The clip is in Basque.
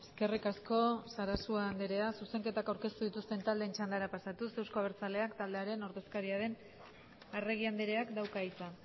eskerrik asko sarasua andrea zuzenketa aurkeztu dituzten taldeen txandara pasatuz euzko abertzaleak taldearen ordezkaria den arregi andreak dauka hitza